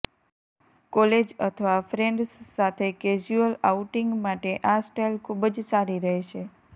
college અથવા friends સાથે casual outing માટે આ સ્ટાઇલ ખુબ જ સારી રહેશે